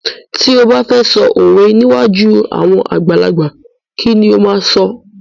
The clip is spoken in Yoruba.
Ti ó ba fẹ sọ òwe níwájú àwọn àgbàlagbà, kí ni ó máa sọ?